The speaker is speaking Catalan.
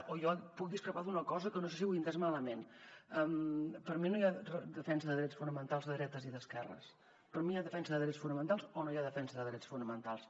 o jo puc discrepar d’una cosa que no sé si he entès malament per mi no hi ha defensa de drets fonamentals de dretes i d’esquerres per mi hi ha defensa de drets fonamentals o no hi ha defensa de drets fonamentals